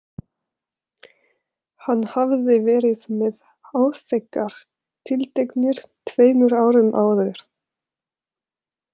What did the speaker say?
Hann hafði verið með áþekkar tiltektir tveimur árum áður.